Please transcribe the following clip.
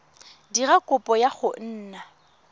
dira kopo ya go nna